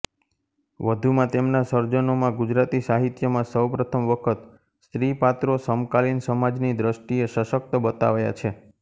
વધુમાં તેમના સર્જનોમાં ગુજરાતી સાહિત્યમાં સૌપ્રથમ વખત સ્ત્રીપાત્રો સમકાલીન સમાજની દૃષ્ટિએ સશક્ત બતાવાયા છે